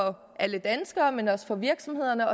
alle danskere men også for virksomhederne